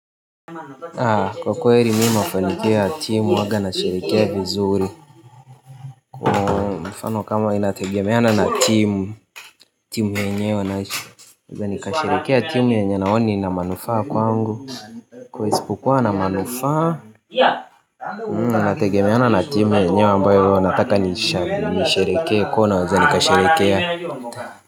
Kwa kweri mi mafanikio ya timu waga na sherekea vizuri. Mifano kama inategemeana na timu nikasherekea timu yenye naoni ina manufaa kwangu. Kwa isipukuwa na manufaa. Inategemeana na timu yenyewe ambayo nataka nisherekea kuwa nawaza nikasherekea Mena yu amokar.